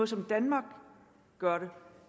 som danmark gør det